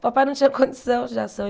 O papai não tinha condição.